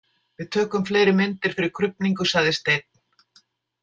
Við tökum fleiri myndir fyrir krufningu, sagði Steinn.